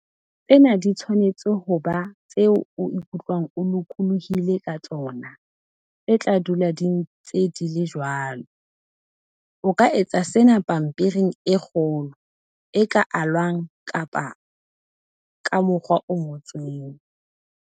Tsena di tshwanetse ho ba tseo o ikutlwang o lokolohile ka tsona, tse tla dula di ntse di le jwalo. O ka etsa sena pampiring e kgolo, e ka alwang kapa ka mokgwa o ngotsweng.